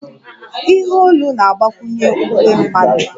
Ihe olu na-agbakwunye uwe mmadụ